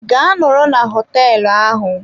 Gaa nọrọ na hoteelu ahụ!